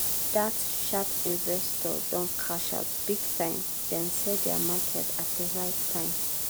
dat sharp investor don cash out big time! dem sell dia market at di right time.